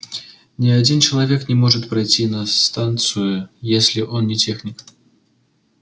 ни один человек не может пройти на станцию если он не техник